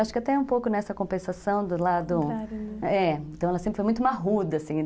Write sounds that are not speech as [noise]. Acho que até é um pouco nessa compensação do lado... [unintelligible] É, então ela sempre foi muito maruda, assim.